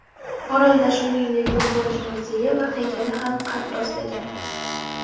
Orolda, shuningdek, futbolchi muzeyi va haykali ham qad rostlagan.